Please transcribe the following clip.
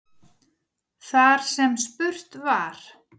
Þar sem spurt var